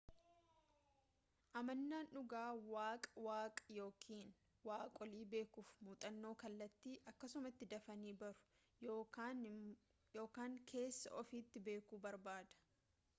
amanaan dhugaa waaqaa/waaqa yookaan waaqolii beekuuf muuxannoo kallattii akkasumatti dafanii baruu yookaan keessa ofiitti beekuu barbaada